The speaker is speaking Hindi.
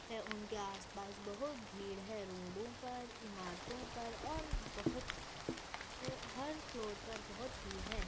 है उनके आस पास बहुत भीड़ ही रोड़ो पर इमारतो पर और बहुत हर फ्लोअर पर बहुत भीड़ है।